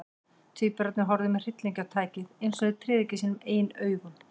Tvíburarnir horfðu með hryllingi á tækið, eins og þeir tryðu ekki sínum eigin augum.